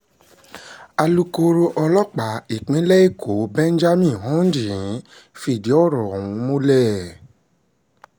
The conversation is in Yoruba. alukkoro ọlọ́pàá ìpínlẹ̀ èkó benjamin hondnyin fìdí ọ̀rọ̀ ọ̀hún múlẹ̀